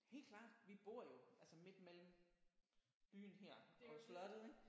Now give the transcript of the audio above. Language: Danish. Helt klart! Vi bor jo altså midt mellem byen her og slottet ik